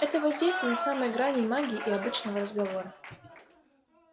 это воздействие на самой грани магии и обычного разговора